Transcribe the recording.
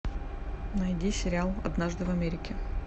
найди сериал однажды в америке